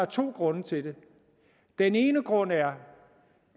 to grunde til det den ene grund er